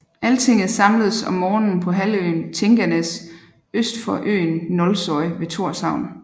Altinget samledes om sommeren på halvøen Tinganes øst for øen Nólsoy ved Thorshavn